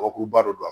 Kɔgɔkuruba don